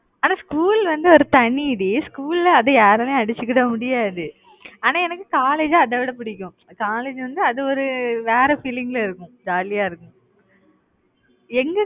ஆனா school வந்து ஒரு தனி டீ school ல அது யாராலயுமே அடிச்சுக்கிட முடியாது. ஆனா எனக்கு college அதைவிட பிடிக்கும். college வந்து அது ஒரு வேற feeling ல இருக்கும். Jolly ஆ இருக்கும். எங்க